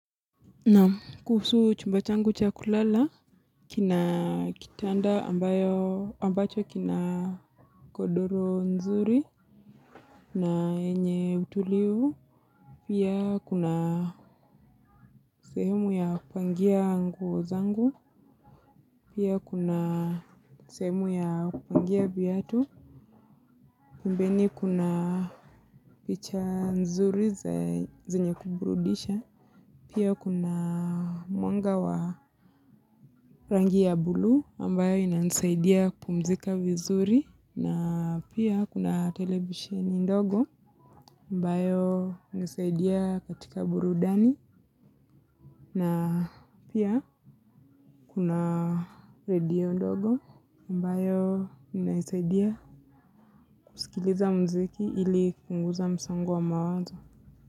Naam, kuhusu chumba changu cha kulala kina kitanda ambacho kina godoro nzuri na yenye utulivu pia kuna sehemu ya kupangia nguo zangu, pia kuna sehemu ya kupangia viatu, pembeni kuna picha nzuri zenye kuburudisha, pia kuna mwanga wa rangi ya blue ambayo inanisaidia kupumzika vizuri na pia kuna televisheni ndogo ambayo inanisaidia katika burudani na pia kuna redio ndogo ambayo inanisaidia kusikiliza muziki ili kupunguza msongo wa mawazo.